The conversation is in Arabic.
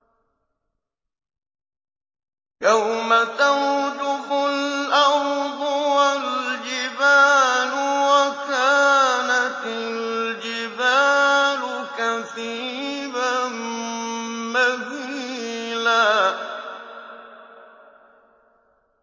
يَوْمَ تَرْجُفُ الْأَرْضُ وَالْجِبَالُ وَكَانَتِ الْجِبَالُ كَثِيبًا مَّهِيلًا